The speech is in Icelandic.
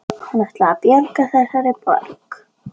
Hann ætlaði að bjarga þessari borg